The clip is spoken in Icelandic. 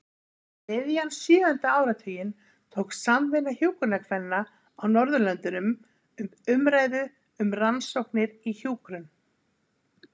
Um miðjan sjöunda áratuginn tók Samvinna hjúkrunarkvenna á Norðurlöndunum upp umræðu um rannsóknir í hjúkrun.